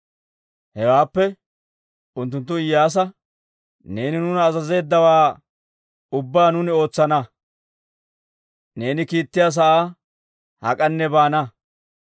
Hewaappe unttunttu Iyyaasa, «Neeni nuuna azazeeddawaa ubbaa nuuni ootsana; neeni kiittiyaa sa'aa hak'anne baana.